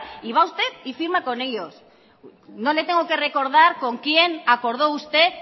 y va usted y firma con ellos no le tengo que recordar con quién acordó usted